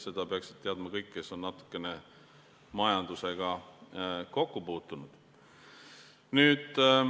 Seda peaksid teadma kõik, kes on natukene majandusega kokku puutunud.